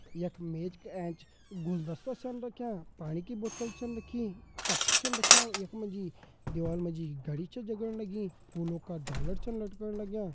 यख मेज का एंच गुलदस्ता छन रख्यां पाणी की बोतल छन रखी कप छन रख्यां यख मा जी दीवाल मा जी घड़ी छ जगण लगी फूलों का झालर छन लटकण लग्यां।